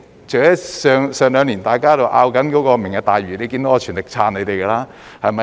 這兩年大家都在爭論"明日大嶼"，你看到我全力支持你們。